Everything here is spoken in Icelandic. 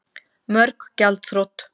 Mörg gjaldþrot